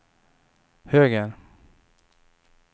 höger